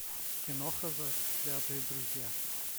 киноха заклятые друзья